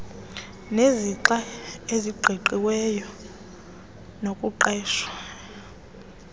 nezixa eziqingqiweyo zokuqeshwa